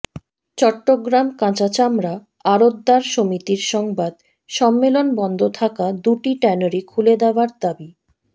চট্টগ্রাম কাঁচা চামড়া আড়তদার সমিতির সংবাদ সম্মেলন বন্ধ থাকা দুটি ট্যানারি খুলে দেওয়ার দাবি